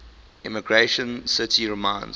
emigration city reminds